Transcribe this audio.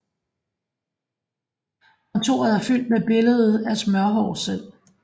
Kontoret er fyldt med billede af Smørhår selv